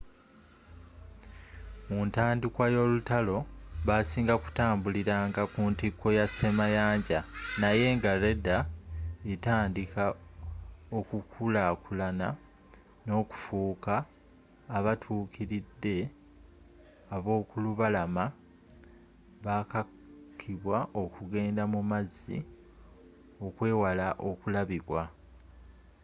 muntandikwa y'olutalo basinga kutambuliranga ku ntiko y'asemayanja naye nga radar etandika okukulakulana n'okufuuka abatuukiridde ab'okulubalama bakakibwa okugenda mumazzi okwewala okulabibwa